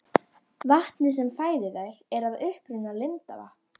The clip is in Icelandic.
Vatnið sem fæðir þær er að uppruna lindavatn.